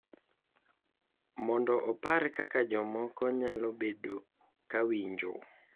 Mondo opar kaka jomoko nyalo bedo ka winjo.